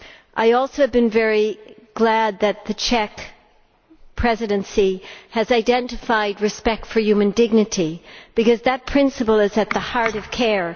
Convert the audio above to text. I am also very glad that the Czech Presidency has identified respect for human dignity, because that principle is at the heart of care.